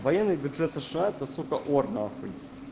военный бюджет сша это сука ор нахуй